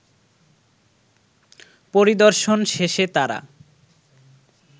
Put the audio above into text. পরিদর্শন শেষে তারা